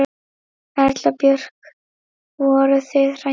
Erla Björg: Voruð þið hræddar?